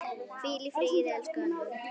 Hvíl í friði, elsku Anna.